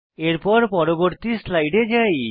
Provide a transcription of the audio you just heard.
এখন পরবর্তী স্লাইডে যাই